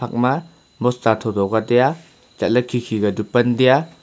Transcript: ima bosta tho tho ka taiya chatley khe khe ka chu pan tai a.